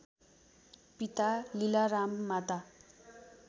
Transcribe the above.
पिता लीलाराम माता